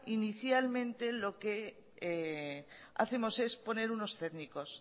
inicialmente lo que hacemos es poner unos técnicos